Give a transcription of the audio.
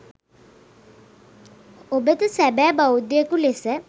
ඔබද සැබෑ බෞද්ධයෙකු ලෙස